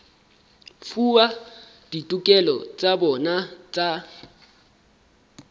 fuwa ditokelo tsa bona tsa